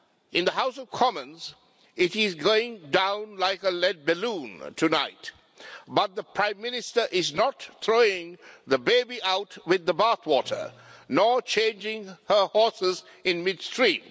In the House of Commons, it is going down like a lead balloon tonight, but the Prime Minister is not throwing the baby out with the bathwater, nor changing her horses midstream.